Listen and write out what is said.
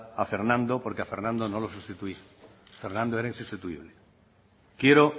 a fernando porque a fernando no lo sustituí fernando era insustituible quiero